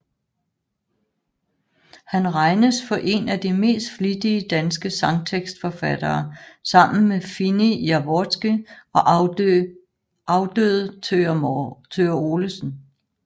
Han regnes for én af de mest flittige danske sangtekstforfattere sammen med Fini Jaworski og afdøde Thøger Olesen